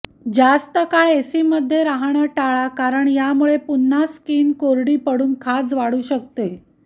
जास्त काळ एसीमध्ये राहणं टाळा कारण यामुळे पुन्हा स्किन कोरडी पडून खाज वाढू शकते